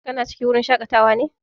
Kana cikin wurin shaƙatawa ne?